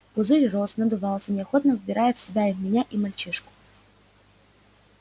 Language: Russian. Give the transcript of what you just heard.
пузырь рос надувался неохотно вбирая в себя и меня и мальчишку